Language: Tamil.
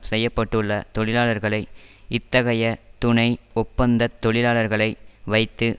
செய்ய பட்டுள்ள தொழிலாளர்களை இத்தகைய துணை ஒப்பந்தத் தொழிலாளர்களை வைத்து